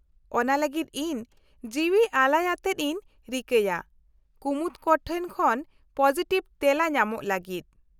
-ᱚᱱᱟ ᱞᱟᱹᱜᱤᱫ ᱤᱧ ᱡᱤᱣᱟ ᱟᱞᱟᱭ ᱟᱛᱮᱫ ᱤᱧ ᱨᱤᱠᱟᱹᱭᱟ ᱠᱩᱢᱩᱴ ᱠᱚᱴᱷᱮᱱ ᱠᱷᱚᱱ ᱯᱚᱥᱤᱴᱤᱵᱷ ᱛᱮᱞᱟ ᱧᱟᱢᱚᱜ ᱞᱟᱜᱤᱫ ᱾